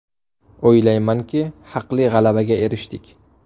O‘ylaymanki, haqli g‘alabaga erishdik.